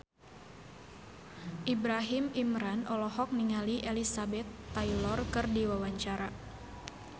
Ibrahim Imran olohok ningali Elizabeth Taylor keur diwawancara